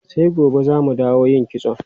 Sai gobe za mu dawo yin kitson.